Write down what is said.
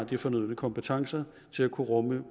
de fornødne kompetencer til at kunne rumme